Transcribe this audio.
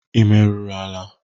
Ị meruru ala?